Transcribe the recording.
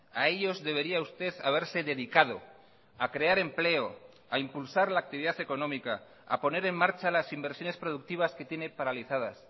a ellos debería usted haberse dedicado a crear empleo a impulsar la actividad económica a poner en marcha las inversiones productivas que tiene paralizadas